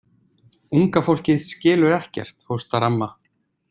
Unga fólkið skilur ekkert, hóstar amma.